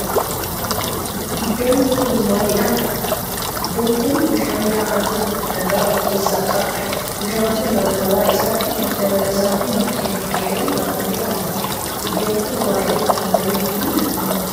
Iddoon kan maalidha? Iddoon kun bishaan yaa'aa jiru kan dhagaa of keessaa qabudha. Bishaan kun naannawa isaatii marga lalisaa fi mukkeen dhedheeron marfamee kan jirudha. Iddoon kun baayyee kan bareeduu fi nama hawwatudha.